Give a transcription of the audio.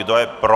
Kdo je pro?